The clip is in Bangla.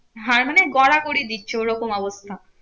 হার মানে গলা ভরিয়ে দিচ্ছে ওরকম অবস্থা।